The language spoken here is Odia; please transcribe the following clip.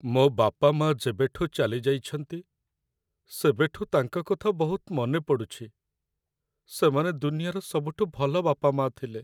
ମୋ' ବାପାମାଆ ଯେବେଠୁ ଚାଲି ଯାଇଛନ୍ତି, ସେବେଠୁ ତାଙ୍କ କଥା ବହୁତ ମନେ ପଡ଼ୁଚି । ସେମାନେ ଦୁନିଆର ସବୁଠୁ ଭଲ ବାପାମାଆ ଥିଲେ ।